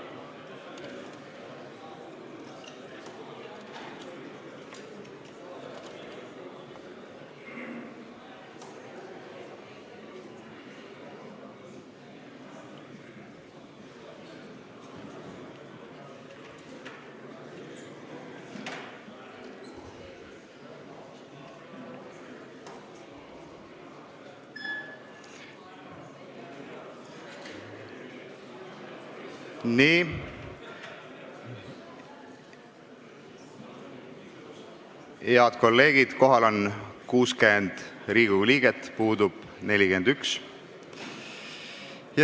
Kohaloleku kontroll Head kolleegid, kohal on 60 Riigikogu liiget, puudub 41.